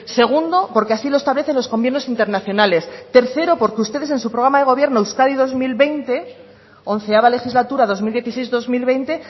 segundo porque así lo establecen los convenios internacionales tercero porque ustedes en su programa de gobierno euskadi dos mil veinte once legislatura dos mil dieciséis dos mil veinte